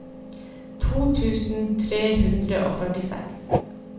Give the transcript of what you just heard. to tusen tre hundre og førtiseks